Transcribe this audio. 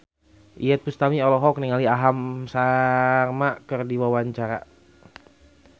Iyeth Bustami olohok ningali Aham Sharma keur diwawancara